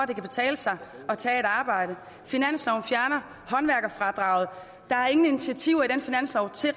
det kan betale sig at tage et arbejde finansloven fjerner håndværkerfradraget der er ingen initiativer i den finanslov til